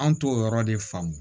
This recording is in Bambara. An t'o yɔrɔ de faamu